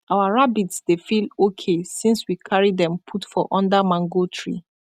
our rabbits dey feel ok since we carry them put for under mango tree